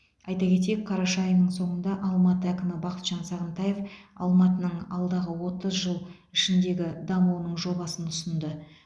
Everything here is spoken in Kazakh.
айта кетейік қараша айының соңында алматы әкімі бақытжан сағынтаев алматының алдағы отыз жыл ішіндегі дамуының жобасын ұсынды